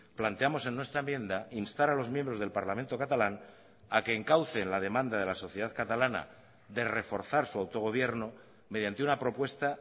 planteamos en nuestra enmienda instar a los miembros del parlamento catalán a que encaucen la demanda de la sociedad catalana de reforzar su autogobierno mediante una propuesta